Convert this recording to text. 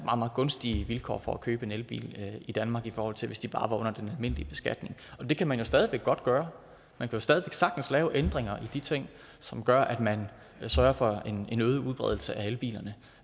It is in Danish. gunstige vilkår for at købe en elbil i danmark i forhold til hvis de bare var under den almindelige beskatning det kan man jo stadig væk godt gøre man kan stadig væk sagtens lave ændringer i de ting som gør at man sørger for en øget udbredelse af elbilerne